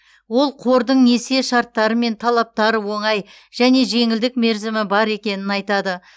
ол қордың несие шарттары мен талаптары оңай және жеңілдік мерзімі бар екенін айтады